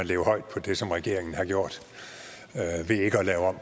leve højt på det som regeringen har gjort ved ikke at lave om